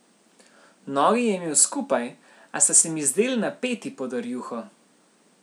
Nogi je imel skupaj, a sta se mi zdeli napeti pod rjuho.